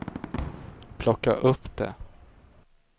plocka upp det